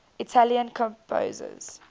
italian composers